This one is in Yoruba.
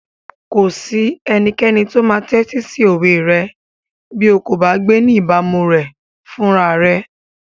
Kò sí ẹnikẹ́ni tó máa tẹ́tí sí òwe rẹ bí o kò bá gbé ní ìbámu rẹ̀ fúnra rẹ.